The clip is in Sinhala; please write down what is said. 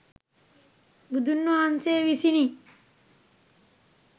බුදුන් වහන්සේ විසිනි.